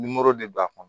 Nimoro de b'a kɔnɔ